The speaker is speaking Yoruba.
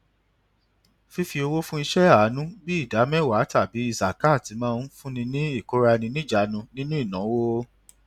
fífi owó fún iṣẹ àánú bíi ìdá mẹwàá tàbí zakat máa ń fún ni ní ìkóraẹniníjàánu nínú ìnáwó